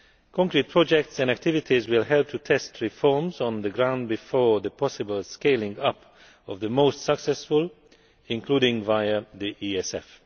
Concrete projects and activities will help to test reforms on the ground before the possible scaling up of the most successful, including via the ESF.